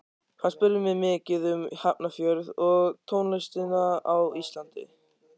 Hann spurði mig mikið um Hafnarfjörð og tónlistina á Íslandi.